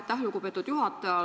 Aitäh, lugupeetud juhataja!